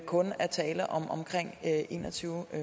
kun er tale omkring en og tyve